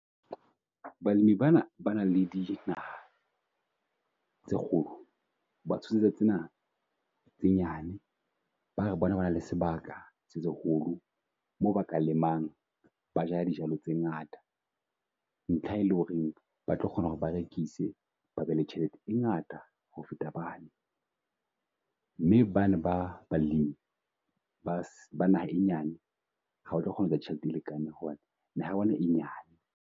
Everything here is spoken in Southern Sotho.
Balemi bana ba nang le dijo tse kgolo ba tsena tse nyane bare bona ba nang le sebaka se seholo moo ba ka lemang ba jala dijalo tse ngata. Ntlha e leng hore ba tlo kgona hore ba rekise babe le tjhelete e ngata ho feta bane. Mme bane ba balemi ba naha e nyane ha o tlo kgona hore tjhelete e lekaneng hobane naha ya bona e nyane.